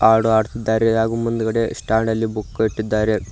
ಹಾಡು ಹಾಡುತ್ತಿದ್ದಾರೆ ಮತ್ತು ಮುಂದ್ಗಡೆ ಸ್ಟ್ಯಾಂಡ್ ಅಲ್ಲಿ ಬುಕ್ ಇಟ್ಟಿದ್ದಾರೆ.